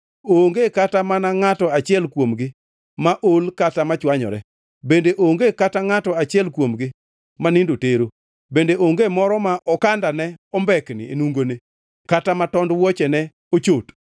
Onge kata mana ngʼato achiel kuomgi ma ol kata machwanyore, bende onge kata ngʼato achiel kuomgi ma nindo tero, bende onge moro ma okanda ombekni e nungone kata ma tond wuochene ochot.